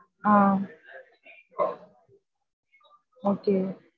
ஆஹ் okay